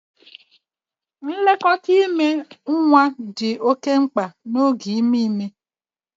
Nlekọta ime nwa dị oke mkpa n'oge ime ime